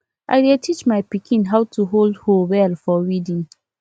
i dey teach my pikin how to hold hoe well for weeding